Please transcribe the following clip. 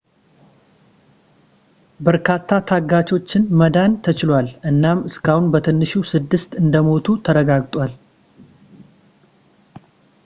በርካታ ታጋቾችን ማዳን ተችሏል እናም እስካሁን በትንሹ ስድስት እንደሞቱ ተረጋግጧል